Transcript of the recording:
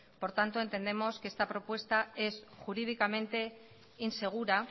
por tanto entendemos que esta propuesta es jurídicamente insegura